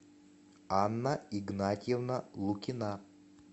анна игнатьевна лукина